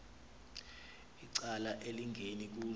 icala elingeni kuzo